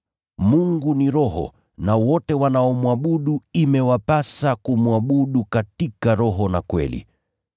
Mungu ni Roho na wote wanaomwabudu imewapasa kumwabudu katika roho na kweli.”